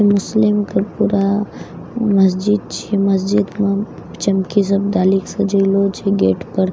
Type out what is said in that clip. मुस्लिम के पूरा मस्जिद छियै मस्जिद मे चमकी सब डालि कए सजएलो छे गेट पर --